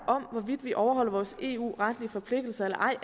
om hvorvidt vi overholder vores eu retlige forpligtelser eller ej